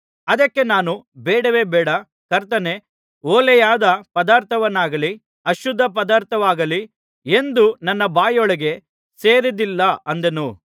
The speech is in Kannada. ಅದಕ್ಕೆ ನಾನು ಬೇಡವೇ ಬೇಡ ಕರ್ತನೇ ಹೊಲೆಯಾದ ಪದಾರ್ಥವಾಗಲಿ ಅಶುದ್ಧ ಪದಾರ್ಥವಾಗಲಿ ಎಂದೂ ನನ್ನ ಬಾಯೊಳಗೆ ಸೇರಿದ್ದಿಲ್ಲ ಅಂದೆನು